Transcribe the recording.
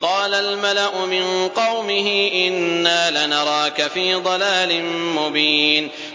قَالَ الْمَلَأُ مِن قَوْمِهِ إِنَّا لَنَرَاكَ فِي ضَلَالٍ مُّبِينٍ